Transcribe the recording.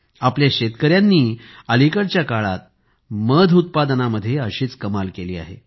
आपल्या शेतकऱ्यांनी अलीकडच्या काळात मध उत्पादनात अशीच कमाल केली आहे